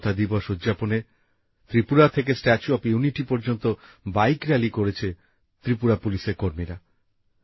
একতা দিবস উদযাপনে ত্রিপুরা থেকে স্ট্যাচু অফ ইউনিটি পর্যন্ত বাইক রালি করছে ত্রিপুরা পুলিশের কর্মীরা